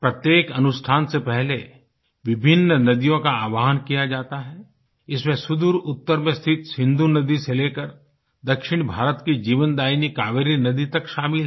प्रत्येक अनुष्ठान से पहले विभिन्न नदियों का आह्वान किया जाता है इसमें सुदूर उत्तर में स्थित सिन्धु नदी से लेकर दक्षिण भारत की जीवनदायिनी कावेरी नदी तक शामिल है